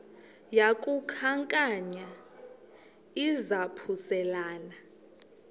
yaku khankanya izaphuselana